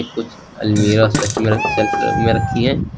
कुछ अलमीरा शेल्फ में रखी हैं।